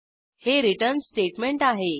हे return statement आहे